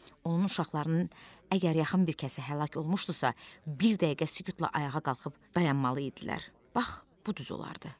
Onun uşaqlarının əgər yaxın bir kəsə həlak olmuşdusa, bir dəqiqə sükutla ayağa qalxıb dayanmalı idilər, bax bu düz olardı.